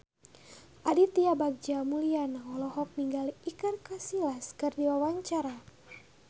Aditya Bagja Mulyana olohok ningali Iker Casillas keur diwawancara